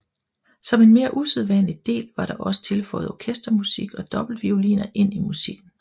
Som en mere usædvanlig del var der også tilføjet orkestermusik og dobbeltvioliner ind i musikken